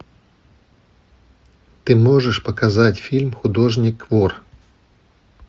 ты можешь показать фильм художник вор